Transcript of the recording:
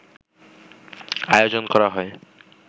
আয়োজন করা হয়